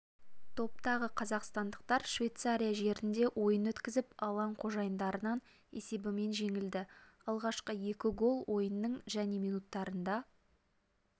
топтағы қазақстандықтар швейцария жерінде ойын өткізіп алаң қожайындарынан есебімен жеңілді алғашқы екі гол ойынның және минуттарында